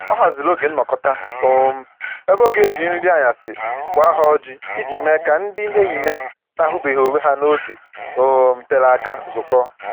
Ọ haziri oge nnọkọta um ebe ọ ga-eji nri anyasị kwaa ha ọjị iji mee ka ndị enyi ya na-ahụbeghị onwe ha n'oge um tere aka zukọọ